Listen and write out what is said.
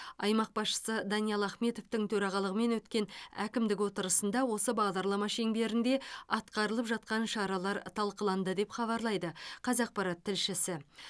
аймақ басшысы даниал ахметовтің төрағалығымен өткен әкімдік отырысында осы бағдарлама шеңберінде атқарылып жатқан шаралар талқыланды деп хабарлайды қазақпарат тілшісі